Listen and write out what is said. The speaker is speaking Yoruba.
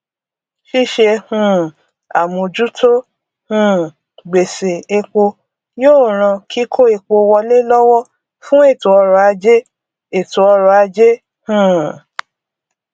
ṣíṣe um àmójútó um gbèṣè epo yóò ràn kíkó epo wọlé lọwọ fún ètòọrọajé ètòọrọajé um